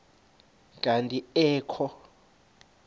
kanti ee kho